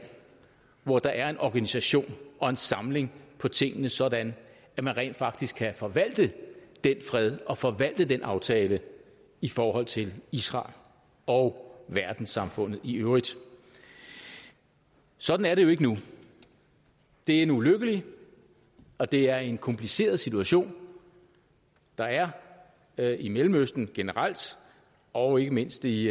hvor der er en organisation og en samling på tingene sådan at man rent faktisk kan forvalte den fred og forvalte den aftale i forhold til israel og verdenssamfundet i øvrigt sådan er det jo ikke nu det er en ulykkelig og det er en kompliceret situation der er er i mellemøsten generelt og ikke mindst i